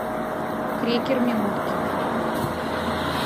крекер минутки